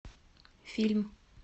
фильм